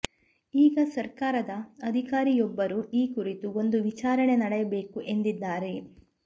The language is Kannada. ಈಗ ಸರಕಾರದ ಅಧಿಕಾರಿಯೊಬ್ಬರು ಈ ಕುರಿತು ಒಂದು ವಿಚಾರಣೆ ನಡೆಯಬೇಕು ಎಂದಿದ್ದಾರೆ